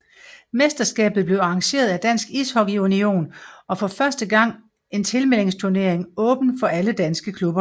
Mesterskabet blev arrangeret af Dansk Ishockey Union og var for første gang en tilmeldingsturnering åben for alle danske klubber